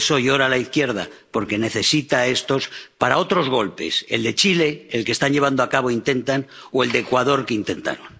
Por eso llora la izquierda, porque necesita a estos para otros golpes el de Chile —el que están llevando a cabo o intentan— o el de Ecuador —que intentaron—.